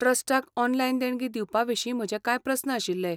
ट्रस्टाक online देणगीं दिवपाविशीं म्हजे कांय प्रस्न आशिल्ले.